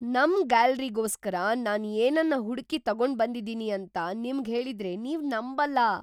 ನಮ್ ಗ್ಯಾಲರಿಗೋಸ್ಕರ ನಾನ್ ಏನನ್ನ ಹುಡ್ಕಿ ತಗೊಂಡ್ಬಂದಿದೀನಿ ಅಂತ ನಿಮ್ಗ್ ಹೇಳಿದ್ರೆ ನೀವ್ ನಂಬಲ್ಲ!